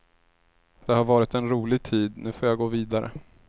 Det har varit en rolig tid, nu får jag gå vidare.